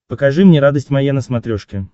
покажи мне радость моя на смотрешке